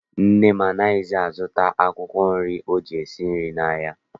Nne m anaghịzi azụta akwụkwọ nri o ji esi nri n'ahịa.